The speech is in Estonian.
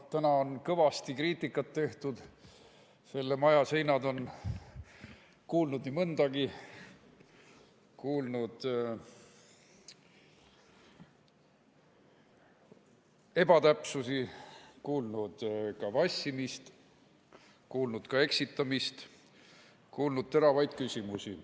Täna on kõvasti kriitikat tehtud, selle maja seinad on kuulnud nii mõndagi, need on kuulnud ebatäpsusi, vassimist, eksitamist ja ka teravaid küsimusi.